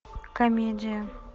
комедия